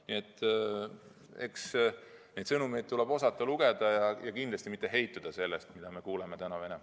Nii et eks neid sõnumeid tuleb osata lugeda ja kindlasti mitte heituda sellest, mida me Venemaalt täna kuuleme.